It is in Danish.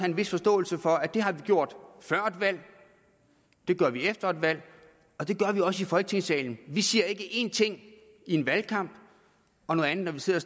en vis forståelse for at det vi har gjort før et valg gør vi efter et valg og det gør vi også i folketingssalen vi siger ikke én ting i en valgkamp og noget andet når vi sidder